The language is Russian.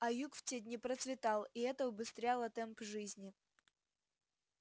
а юг в те дни процветал и это убыстряло темп жизни